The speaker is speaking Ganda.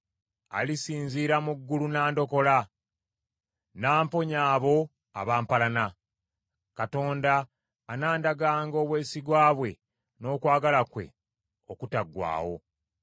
Alisinzira mu ggulu n’andokola, n’amponya abo abampalana. Katonda anandaganga obwesigwa bwe n’okwagala kwe okutaggwaawo.